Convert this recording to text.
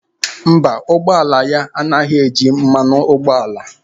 Mba, ụgbọ ala ya anaghị eji mmanụ ụgbọala.